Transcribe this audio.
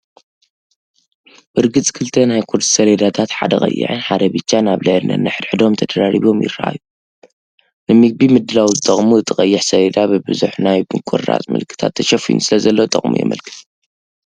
ብርግጽ ክልተ ናይ ቁርሲ ሰሌዳታት ሓደ ቀይሕን ሓደ ብጫን ኣብ ልዕሊ ነንሕድሕዶም ተደራሪቦም ይረኣዩ፣ ንምግቢ ምድላው ዝጠቕሙ። እቲ ቀይሕ ሰሌዳ ብብዙሕ ናይ ምቑራጽ ምልክታት ተሸፊኑ ስለዘሎ ጠቕሙ የመልክት።